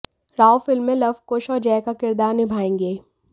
Rao film में लव कुश और जय का किरदार निभाएंगे